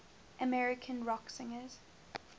american rock singers